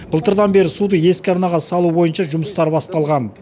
былтырдан бері суды ескі арнаға салу бойынша жұмыстар басталған